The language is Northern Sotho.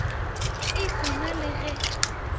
e se na le ge